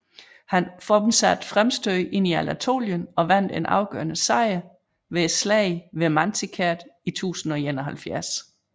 Han fortsatte fremstødet ind i Anatolien og vandt en afgørende sejr ved Slaget ved Manzikert i 1071